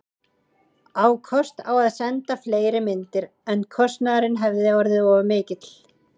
Á kost á að senda fleiri myndir, en kostnaðurinn hefði orðið of mikill.